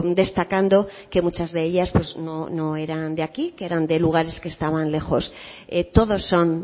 destacando que muchas de ellas pues no eran de aquí que eran de lugares que estaban lejos todos son